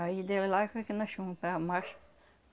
Aí deu lá foi que nós fomos para.